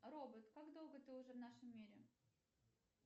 робот как долго ты уже в нашем мире